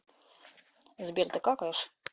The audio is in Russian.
сбер ты какаешь